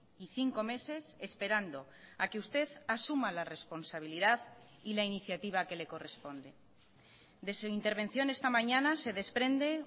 y cinco meses esperando a que usted asuma la responsabilidad y la iniciativa que le corresponde de su intervención esta mañana se desprende